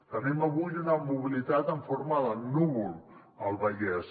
tenim avui una mobilitat en forma de núvol al vallès